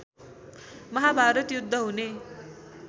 महाभारत युद्ध हुने